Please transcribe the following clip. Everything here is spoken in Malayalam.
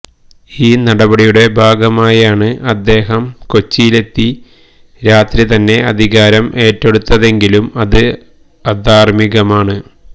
ഈ നടപടിയുടെ ഭാഗമായാണ് അദ്ദേഹം കൊച്ചിയിലെത്തി രാത്രി തന്നെ അധികാരം ഏറ്റെടുത്തതെങ്കിലും അത് അധാര്മികമാണ്